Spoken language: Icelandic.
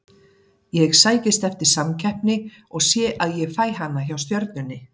Ég sækist eftir samkeppni og sé að ég fæ hana hjá Stjörnunni.